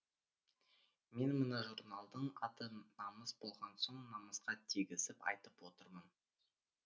мен мына журналдың аты намыс болған соң намысқа тигізіп айтып отырмын